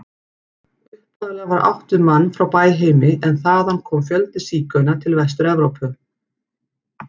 Upphaflega var átt við mann frá Bæheimi en þaðan kom fjöldi sígauna til Vestur-Evrópu.